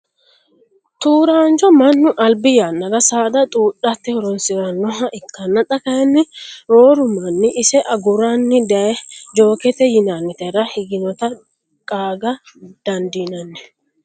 tuuraancho mannu albi yannara saada xuudhate horonsirannoha ikkanna, xa kayiinni rooru manni ise aguranni daye jookete yinannitera higinota qaaga dandiinanni.